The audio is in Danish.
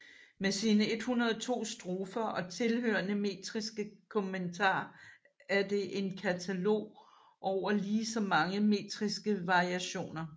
Med sine 102 strofer og tilhørende metriske kommentar er det en katalog over lige så mange metriske variationer